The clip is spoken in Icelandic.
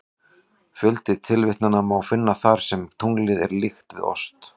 Fjölda tilvitnana má finna þar sem tunglinu er líkt við ost.